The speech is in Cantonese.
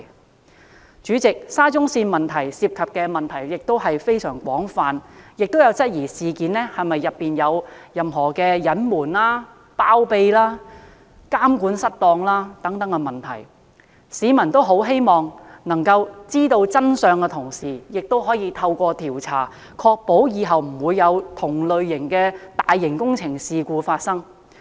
代理主席，沙中線工程涉及的問題非常廣泛，亦有人質疑事件有否涉及隱瞞、包庇和監管失當等問題，市民既希望知道真相，同時亦希望透過調查，確保往後的大型工程不會有同類事故發生。